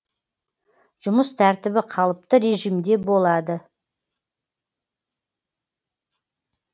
жұмыс тәртібі қалыпты режимде болады